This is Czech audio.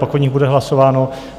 Pak o nich bude hlasováno.